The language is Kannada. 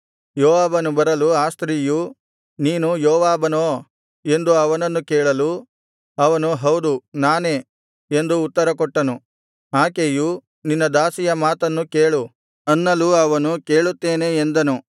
ಯೋವಾಬನು ಬರಲು ಆ ಸ್ತ್ರೀಯು ನೀನು ಯೋವಾಬನೋ ಎಂದು ಅವನನ್ನು ಕೇಳಲು ಅವನು ಹೌದು ನಾನೇ ಎಂದು ಉತ್ತರ ಕೊಟ್ಟನು ಆಕೆಯು ನಿನ್ನ ದಾಸಿಯ ಮಾತನ್ನು ಕೇಳು ಅನ್ನಲು ಅವನು ಕೇಳುತ್ತೇನೆ ಎಂದನು